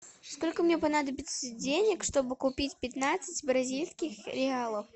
сколько мне понадобится денег чтобы купить пятнадцать бразильских реалов